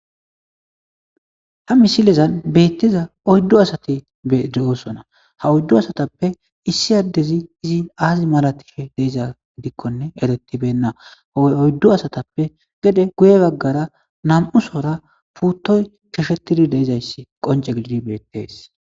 Ha misilezan beettiza oyddu asati betosona ha oyddu asatappe issi addezi izi aazi malatife deiza gidikkone eretibenna ooy oyddu asatappe gede guye baggara na'mu sora puuttoy choshetidi deizayssi qonce gididi beettees